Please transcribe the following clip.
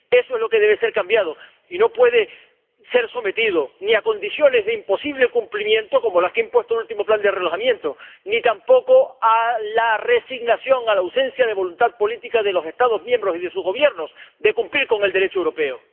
Eso es lo que debe ser cambiado, y no puede ser sometido ni a condiciones de imposible cumplimiento, como las que ha impuesto el último plan de realojamiento, ni tampoco a la resignación, a la ausencia de voluntad política de los Estados miembros y de su gobiernos de cumplir con el Derecho europeo.